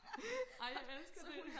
ej jeg elsker det